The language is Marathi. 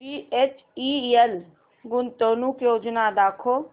बीएचईएल गुंतवणूक योजना दाखव